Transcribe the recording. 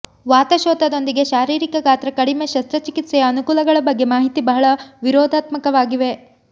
ವಾತಶೋಥದೊಂದಿಗೆ ಶಾರೀರಿಕ ಗಾತ್ರ ಕಡಿಮೆ ಶಸ್ತ್ರಚಿಕಿತ್ಸೆಯ ಅನುಕೂಲಗಳ ಬಗ್ಗೆ ಮಾಹಿತಿ ಬಹಳ ವಿರೋಧಾತ್ಮಕವಾಗಿವೆ